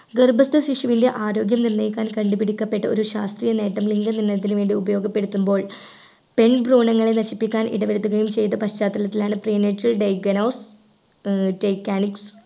ഗർഭസ്ഥ ശിശുവിലെ ആരോഗ്യം നിർണയിക്കാൻ കണ്ടുപിടിക്കപ്പെട്ട ഒരു ശാസ്ത്രീയ നേട്ടം ലിംഗനിർണയത്തിനുവേണ്ടി ഉപയോഗപ്പെടുത്തുമ്പോൾ പെൺ ഭ്രുണങ്ങളെ നശിപ്പിക്കാൻ ഇടവരുത്തുകായും ചെയ്ത പശ്ചാത്തലത്തിലാണ് premature digonose ഏർ